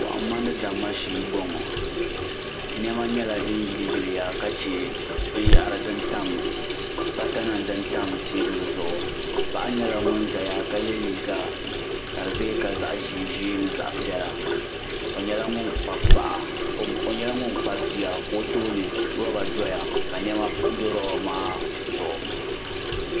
Kohamma ni damma shee m boŋɔ niɛma nyɛla din yili yiliya ka che bata nima din tam teebuli zuɣu paɣa nyɛla ŋun zaya ka ye liiga ka di be ka zaɣa ʒee ʒee zaɣa piɛla o nyɛla ŋun kpabi bia o tooni loba doya ka niɛma do loba maa zuɣu.